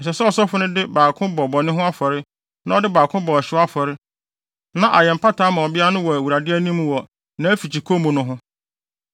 Ɛsɛ sɛ ɔsɔfo no de baako bɔ bɔne ho afɔre na ɔde baako bɔ ɔhyew afɔre na ayɛ mpata ama ɔbea no wɔ Awurade anim wɔ nʼafikyikɔ mu no ho.